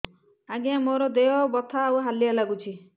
ଆଜ୍ଞା ମୋର ଦେହ ବଥା ଆଉ ହାଲିଆ ଲାଗୁଚି